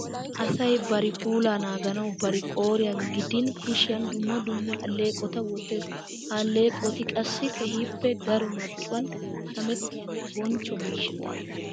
Asay barri puulaa naaganawu bari qooriyan gidin kushiyan dumma dumma alleeqota wottees. Ha alleeqoti qassi keehippe daro marccuwan shamettiyanne bonchcho miishsha.